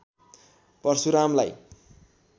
परशुरामलाई